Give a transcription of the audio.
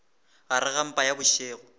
gare ga mpa ya bošego